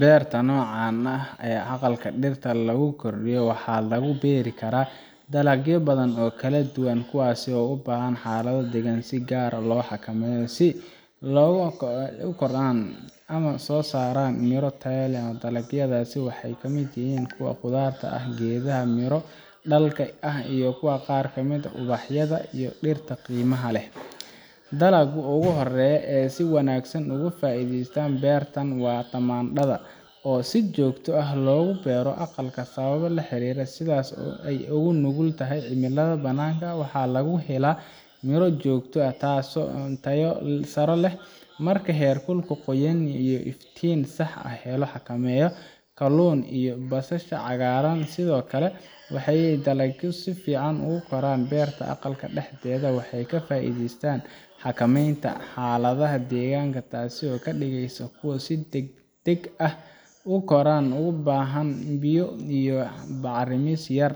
beerta noocaan ah ee ah aqalka dhirta lagu koriyo waxaa lagu beeri karaa dalagyo badan oo kala duwan kuwaas oo u baahan xaalado deegaan oo si gaar ah loo xakameeyo si ay u kortaan una soo saaraan miro tayo leh dalagyadaas waxaa ka mid ah kuwa khudradda ah, geedaha miro dhalka ah iyo qaar ka mid ah ubaxyada iyo dhirta qiimaha leh dalagga ugu horreeya ee si wanaagsan uga faa’iideysta beertan waa tamaandhada oo si joogto ah loogu beero aqalka sababo la xiriira sida ay ugu nugul tahay cimilada bannaanka waxaana lagu helaa miro joogto ah oo tayo sare leh marka heerkul, qoyaan iyo iftiin si sax ah loo xakameeyo kalluun iyo basasha cagaaran sidoo kale waa dalagyo si fiican ugu kora beerta aqalka dhexdeeda waxay ka faa’iideystaan xakamaynta xaaladaha deegaanka taasoo ka dhigaysa kuwo si degdeg ah u kora uguna baahan biyo iyo bacrimis yar